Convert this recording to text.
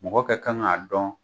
Mɔgɔ kɛ kan k'a dɔn.